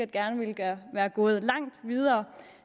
gerne ville være gået langt videre